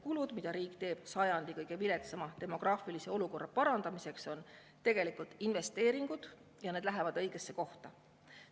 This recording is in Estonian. Kulutused, mida riik teeb sajandi kõige viletsama demograafilise olukorra parandamiseks, on tegelikult investeeringud ja need lähevad õigesse kohta.